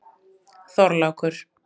Þorlákur